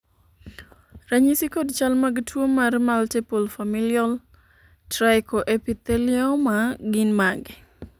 ranyisi kod chal mag tuo mar Multiple familial trichoepithelioma gin mage?